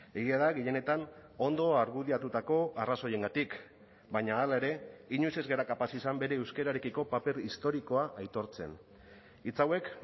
egia da gehienetan ondo argudiatutako arrazoiengatik baina hala ere inoiz ez gara kapaz izan bere euskararekiko paper historikoa aitortzen hitz hauek